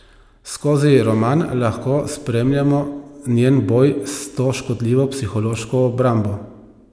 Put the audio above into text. Skozi roman lahko spremljamo njen boj s to škodljivo psihološko obrambo.